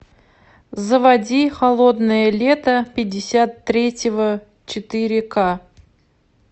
заводи холодное лето пятьдесят третьего четыре ка